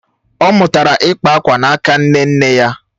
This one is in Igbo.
ọ mụtara ịkpa akwa n’aka nne nne ya.